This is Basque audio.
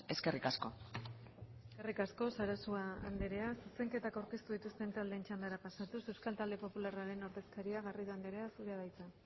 eskerrik asko eskerrik asko sarasua anderea zuzenketa aurkeztu dituzten taldeen txandara pasatuz euskal talde popularraren ordezkaria garrido anderea zurea da hitza